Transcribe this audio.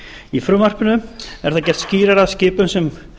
í frumvarpinu er það gert skýrara að skipum sem